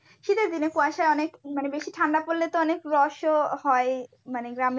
শীতের দিনে কুয়াশা অনেক মানে বেশি ঠান্ডা পড়লে তো অনেক রস ও হয় মানে।